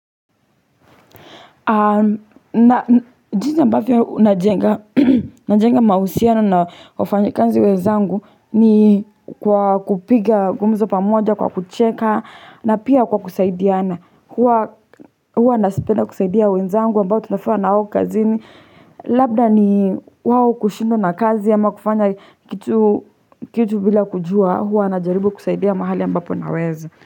Jinsi ambavyo najenga, najenga mahusiano na wafanyikazi wenzangu ni kwa kupiga gumzo pamoja kwa kucheka na pia kwa kusaidiana. Huwa napenda kusaidia wenzangu ambao tunafanya nao kazini. Labda ni wao kushindwa na kazi ama kufanya kitu bila kujua huwa najaribu kusaidia mahali ambappo naweza.